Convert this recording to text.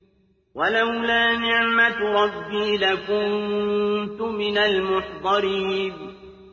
وَلَوْلَا نِعْمَةُ رَبِّي لَكُنتُ مِنَ الْمُحْضَرِينَ